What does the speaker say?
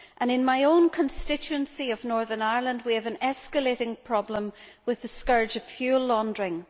In my constituency of Northern Ireland, we have an escalating problem with the scourge of fuel laundering.